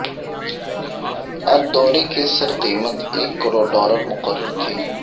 الدوری کے سر قیمت ایک کروڑ ڈالر مقرر تھی